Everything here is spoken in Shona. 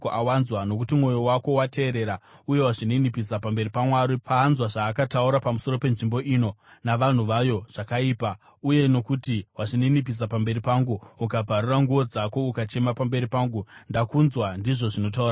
Nokuti mwoyo wako wateerera uye wazvininipisa pamberi paMwari pawanzwa zvaakataura pamusoro penzvimbo ino navanhu vayo zvakaipa, uye nokuti wazvininipisa pamberi pangu ukabvarura nguo dzako ukachema pamberi pangu, ndakunzwa ndizvo zvinotaura Jehovha.